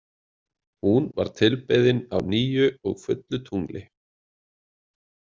Hún var tilbeðin á nýju og fullu tungli.